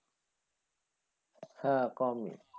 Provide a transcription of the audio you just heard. হ্যাঁ কমই।